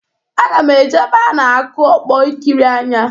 Aga m eje ebe a na-akụ ọkpọ ikiri anya.